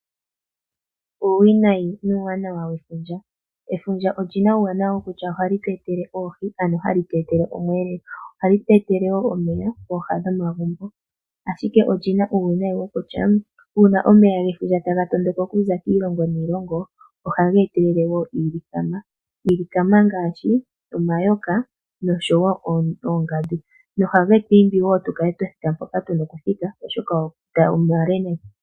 Uuwinayi nuuwanawa wefundja. Efundja olyina uuwanawa wokutya ohali tu etele oohi, ano hali tu etele omweelelo. Ohali tu etele wo omeya pooha dhomagumbo. Ashike olyina uuwinayi wokutya, una omeya gefundja taga tondoka okuza kiilongo niilongo, ohaga etelele wo iilikama, iilikama ngaashi omayoka noshowo oongandu, noha getu imbi wo opo tu kale twa thika mpoka tuna okuthika oshoka omeya omale nayi.